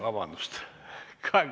Vabandust!